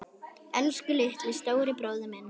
Elsku litli, stóri bróðir minn.